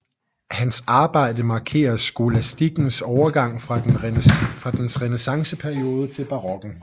Hans arbejde markerer skolastikkens overgang fra dens renæssanceperiode til barokken